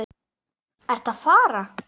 Ertu að fara?